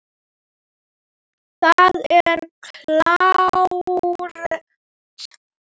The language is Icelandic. Það er klárt.